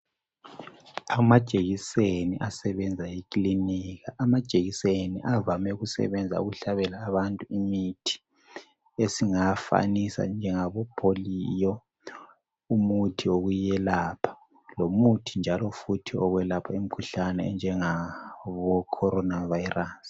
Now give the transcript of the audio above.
amajekiseni asebenza ekilinika, amajekiseni avame ukusebenza ukuhlabela abantu imithi esingafanisa njengabo polio umuthi okuyelapha lomuthi njalo futhi okuyelapha imikhuhlane enjengabo corona virus